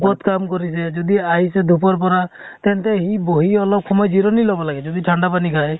কʼত কাম কৰিছে । যদি আহিছে foreignhindiforeign পৰা , তেন্তে সি বহি অলপ জিৰণী লʼব লাগে । যদি ঠাণ্ডা পানী খায়